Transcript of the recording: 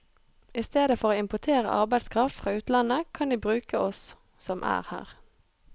I stedet for å importere arbeidskraft fra utlandet, kan de bruke oss som er her.